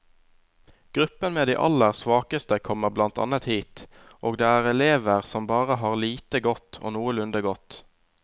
Gruppen med de aller svakeste kommer blant annet hit, og det er elever som bare har lite godt og noenlunde godt.